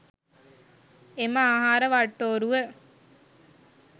එම ආහාර වට්ටෝරුව